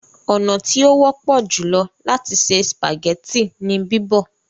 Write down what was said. ọnà tí o wọpọ jùlọ láti se spaghetti ní bibọ.